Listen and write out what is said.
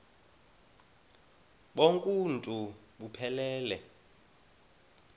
bonk uuntu buphelele